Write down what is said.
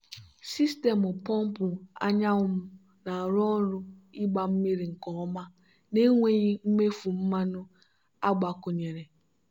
sistemụ pọmpụ anyanwụ m na-arụ ọrụ ịgba mmiri nke ọma na-enweghị mmefu mmanụ agbakwunyere.